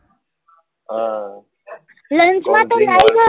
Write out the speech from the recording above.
હા lunch માં તો લાઈ શકાય